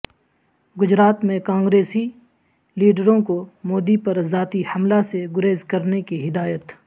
گجرات میں کانگریسی لیڈروں کو مودی پر ذاتی حملہ سے گریزکرنے کی ہدایت